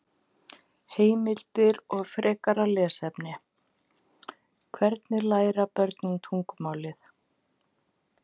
Heimildir og frekara lesefni: Hvernig læra börn tungumálið?